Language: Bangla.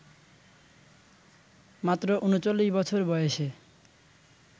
মাত্র ৩৯ বছর বয়েসে